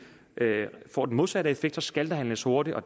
får den modsatte effekt skal der handles hurtigt og